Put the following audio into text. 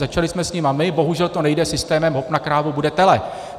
Začali jsme s nimi my, bohužel to nejde systémem hop na krávu, bude tele.